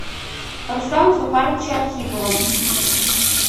руслана зуфаровича архипова